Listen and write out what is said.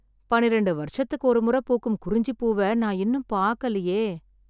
பன்னிரெண்டு வருஷத்துக்கு ஒரு மொற பூக்கும் குறிஞ்சிப் பூவ, நான் இன்னும் பாக்கலயே...